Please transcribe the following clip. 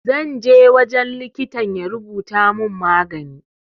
Zanje wajen likitan ya rubuta mun magani